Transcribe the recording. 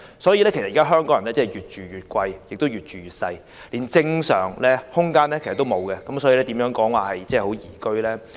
既然香港人"越住越貴，越住越細"，連正常的居住空間也欠奉，香港又怎能說是宜居呢？